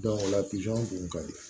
o la pizɔn kun ka di